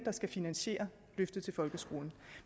skal finansiere løftet i folkeskolen